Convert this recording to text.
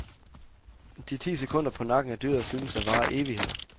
De ti sekunder på nakken af dyret synes at vare evigheder.